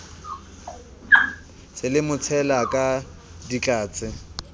se le motshela ka ditlatse